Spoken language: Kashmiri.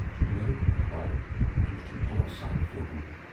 مےٚ روٹ اَخبار تہٕ وُچھُم غورٕ سان فوٹوٗ۔